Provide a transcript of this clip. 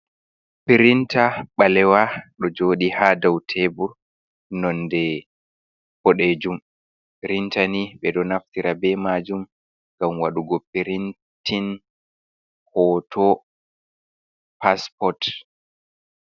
Pirinta balewa do jodi ha dau tebur nonde bodejum, printani be do naftira be majum ngam wadugo pirintin hoto pasport.